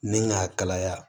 Ni k'a kalaya